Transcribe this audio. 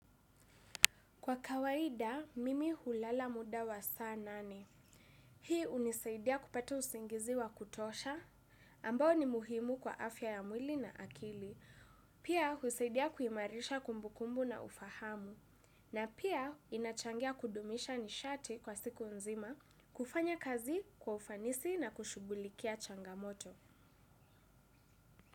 Kwa kawaida, mimi hulala muda wa saa nane. Hii hunisaidia kupata usingizi wa kutosha, ambao ni muhimu kwa afya ya mwili na akili. Pia, husaidia kuimarisha kumbukumbu na ufahamu. Na pia, inachangia kudumisha nishati kwa siku nzima, kufanya kazi kwa ufanisi na kushugulikia changamoto.